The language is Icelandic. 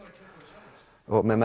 með